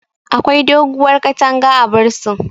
Akwai doguwar katanga a bursin